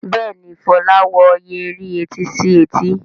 Béèni Fola wò Yẹrí etí sí etí.